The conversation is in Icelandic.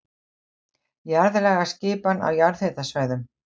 Jarðlagaskipan á jarðhitasvæðum